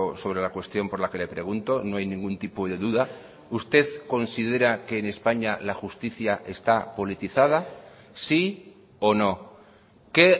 sobre la cuestión por la que le pregunto no hay ningún tipo de duda usted considera que en españa la justicia está politizada sí o no qué